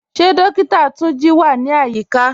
Ṣe Dókìtà Túnjí wà ní ayíkà?